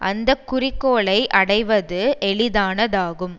அந்த குறிக்கோளை அடைவது எளிதானதாகும்